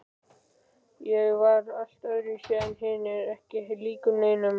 Ég var allt öðruvísi en hinir, ekki líkur neinum.